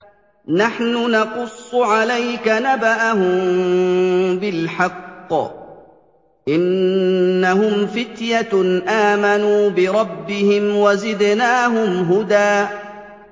نَّحْنُ نَقُصُّ عَلَيْكَ نَبَأَهُم بِالْحَقِّ ۚ إِنَّهُمْ فِتْيَةٌ آمَنُوا بِرَبِّهِمْ وَزِدْنَاهُمْ هُدًى